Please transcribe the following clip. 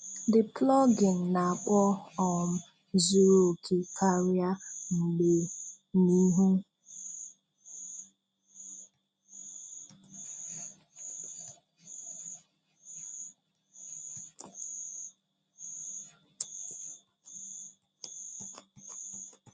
The plugin na-akpọ um zuru okè karịa mgbe n'ihu